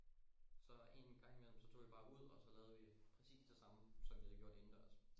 Så engang imellem så tog vi bare ud og så lavede vi præcis det samme som vi havde gjort indendørs